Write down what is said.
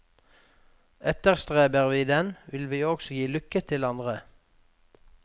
Etterstreber vi den, vil vi også gi lykke til andre.